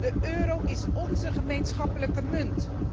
De euro is onze gemeenschappelijke munt.